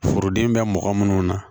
Foroden bɛ mɔgɔ minnu na